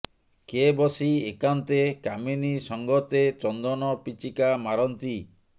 କେ ବସି ଏକାନ୍ତେ କାମିନୀ ସଙ୍ଗତେ ଚନ୍ଦନ ପିଚିକା ମାରନ୍ତି